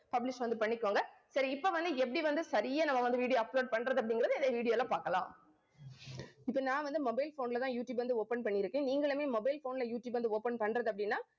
publish வந்து பண்ணிக்கோங்க. சரி இப்ப வந்து எப்படி வந்து சரியா நம்ம வந்து video upload பண்றது அப்படிங்கிறதை இந்த video ல பார்க்கலாம். இப்ப நான் வந்து mobile phone லதான், யூடியூப் வந்து, open பண்ணியிருக்கேன். நீங்களுமே mobile phone ல யூடியூப் வந்து open பண்றது அப்படின்னா